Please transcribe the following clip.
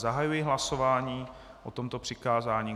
Zahajuji hlasování o tomto přikázání.